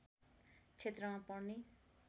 क्षेत्रमा पर्ने